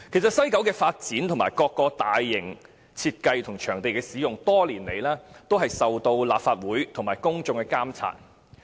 西九文化區的發展和各個大型設計及場地使用，多年來一直受到立法會和公眾監察。